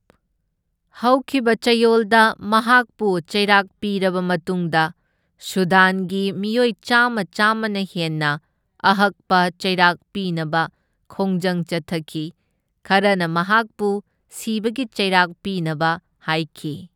ꯍꯧꯈꯤꯕ ꯆꯌꯣꯜꯗ ꯃꯍꯥꯛꯄꯨ ꯆꯩꯔꯥꯛ ꯄꯤꯔꯕ ꯃꯇꯨꯡꯗ, ꯁꯨꯗꯥꯟꯒꯤ ꯃꯤꯑꯣꯏ ꯆꯥꯝꯃ ꯆꯥꯝꯃꯅ ꯍꯦꯟꯅ ꯑꯍꯛꯄ ꯆꯩꯔꯥꯛ ꯄꯤꯅꯕ ꯈꯣꯡꯖꯪ ꯆꯠꯊꯈꯤ, ꯈꯔꯅ ꯃꯍꯥꯛꯄꯨ ꯁꯤꯕꯒꯤ ꯆꯩꯔꯥꯛ ꯄꯤꯅꯕ ꯍꯥꯢꯈꯤ꯫